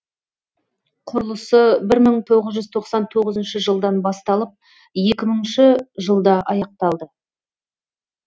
құрылысы бір мың тоғыз жүз тоқсан тоғызыншы жылдан басталып екі мыңыншы жылда аяқталды